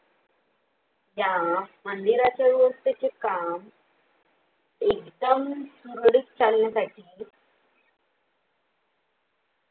त्या मंदिराच्या व्यवस्थेची काम. एकदम सुरळीत चालण्यासाठी